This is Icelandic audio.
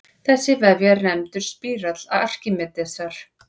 Þessi vefja er nefndur spírall Arkímedesar.